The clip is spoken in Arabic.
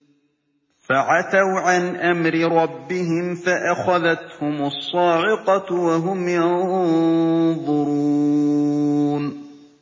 فَعَتَوْا عَنْ أَمْرِ رَبِّهِمْ فَأَخَذَتْهُمُ الصَّاعِقَةُ وَهُمْ يَنظُرُونَ